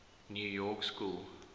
new york school